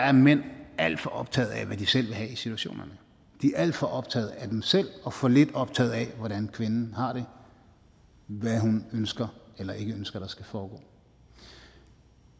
at mænd er alt for optagede af hvad de selv vil have i situationerne de er alt for optaget af dem selv og for lidt optaget af hvordan kvinden har det hvad hun ønsker eller ikke ønsker at der skal foregå